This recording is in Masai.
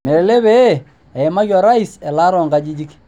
Melelek pee eimaki orais elaata oo nkajijik.